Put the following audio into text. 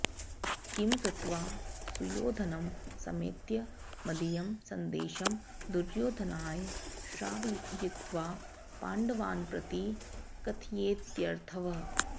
किं कृत्वा सुयोधनं समेत्य मदीयं संदेशं दुर्योधनाय श्रावयित्वा पाण्डवान्प्रति कथयेत्यर्थः